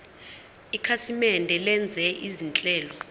ikhasimende lenza izinhlelo